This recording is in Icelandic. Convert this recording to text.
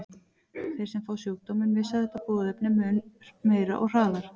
Þeir sem fá sjúkdóminn missa þetta boðefni mun meira og hraðar.